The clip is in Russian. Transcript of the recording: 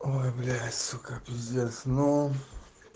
ой блядь сука пиздец ну